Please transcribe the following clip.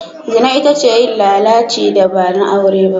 Zina ita ce yin lalaci da ba na aure ba.